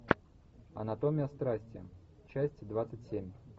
анатомия страсти часть двадцать семь